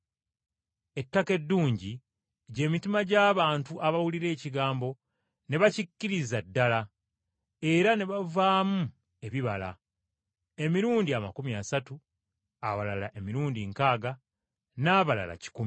Ettaka eddungi gy’emitima gy’abantu abawulira ekigambo ne bakkiririza ddala era ne bavaamu ebibala, emirundi amakumi asatu, abalala emirundi nkaaga, n’abalala kikumi.”